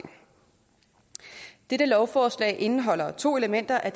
dette lovforslag indeholder to elementer af